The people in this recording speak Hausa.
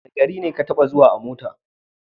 Wane gari ta taɓa zuwa a mota?